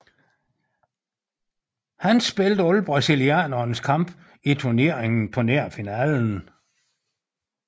Han spillede alle brasilianernes kampe i turneringen på nær finalen